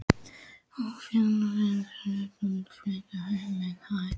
Á fjögurra vikna fresti var hún flutt upp um hæð.